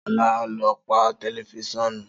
Sola lọ pà tẹlifusiọnu.